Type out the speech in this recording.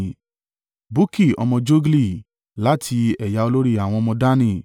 Bukki ọmọ Jogli, láti ẹ̀yà olórí àwọn ọmọ Dani;